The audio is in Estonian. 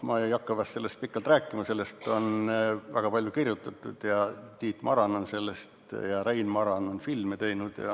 Ma ei hakka sellest pikalt rääkima, sellest on väga palju kirjutatud, Tiit Maran on sellest rääkinud ja Rein Maran filmi teinud.